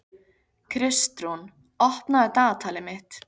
Kristrún, opnaðu dagatalið mitt.